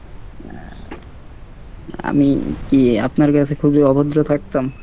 হম আমি কী আপনার কাছে খুবই অভদ্র থাকতাম?